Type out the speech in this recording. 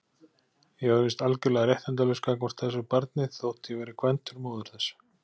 Ég var víst algjörlega réttindalaus gagnvart þessu barni, þótt ég væri kvæntur móður þess.